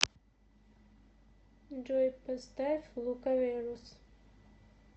джой поставь лукаверос